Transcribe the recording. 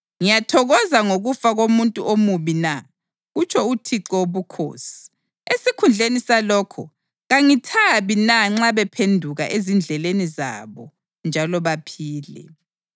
Ngiyathokoza ngokufa komuntu omubi na? kutsho uThixo Wobukhosi. Esikhundleni salokho, kangithabi na nxa bephenduka ezindleleni zabo njalo baphile?